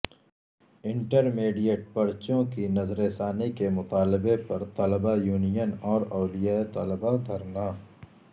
inter mediate پرچوں کی نظرثانی کے مطالبہ پر طلبہ یونین اور اولیاء طلبہ دھرنا